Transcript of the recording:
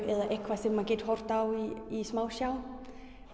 eða eitthvað sem maður getur horft á í smásjá